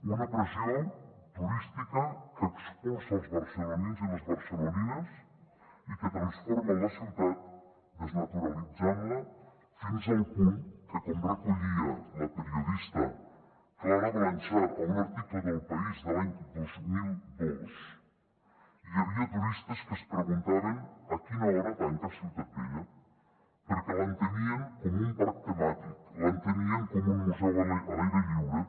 una pressió turística que expulsa els barcelonins i les barcelonines i que transforma la ciutat desnaturalitzant la fins al punt que com recollia la periodista clara blanchar a un article d’el país de l’any dos mil dos hi havia turistes que es preguntaven a quina hora tanca ciutat vella perquè l’entenien com un parc temàtic l’entenien com un museu a l’aire lliure